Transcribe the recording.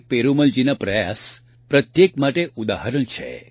પેરુમલજીના પ્રયાસ પ્રત્યેક માટે ઉદાહરણ છે